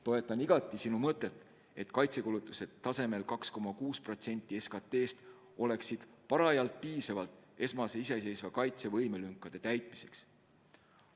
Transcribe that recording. Toetan igati sinu mõtet, et kaitsekulutused tasemel 2,6% SKT-st oleksid piisavad esmase iseseisva kaitsevõime lünkade täitmiseks.